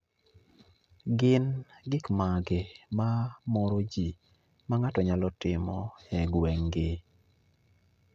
Gin gik mage ma moro ji ma ng'ato nyalo timo e gweng'ni